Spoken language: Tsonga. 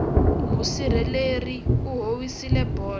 musirheleri u howisile bolo